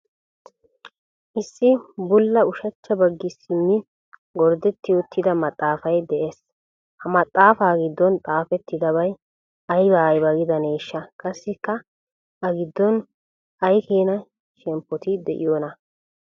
Issi bulla ushachcha baggi simmi gorddetti uttida maxaafay de'ees. Ha maxaafaa giddon xafettidabay aybaa aybaa gidaneesha qassikka A giddon ay keena sheemppoti de"iyoona?